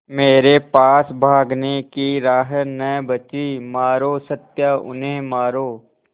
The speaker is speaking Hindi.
मेरे पास भागने की राह न बची मारो सत्या उन्हें मारो